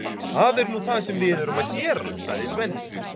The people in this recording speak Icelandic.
Það er nú það sem við erum að gera, sagði Svenni.